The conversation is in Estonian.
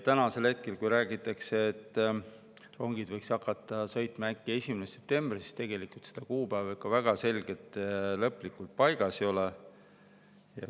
Ja kui räägitakse, et rongid võiks hakata sõitma äkki 1. septembrist, siis tegelikult see kuupäev ikka väga selgelt lõplikult paigas ei ole.